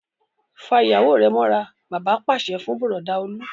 Fa ìyàwó rẹ mọ́ra! Bàbá pàṣẹ fún Bùrọ̀dá Olú.